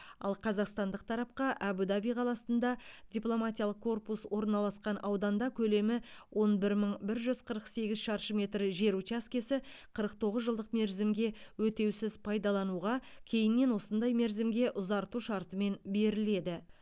ал қазақстандық тарапқа әбу даби қаласында дипломатиялық корпус орналасқан ауданда көлемі он бір мың бір жүз қырық сегіз шаршы метр жер учаскесі қырық тоғыз жылдық мерзімге өтеусіз пайдалануға кейіннен осындай мерзімге ұзарту шартымен беріледі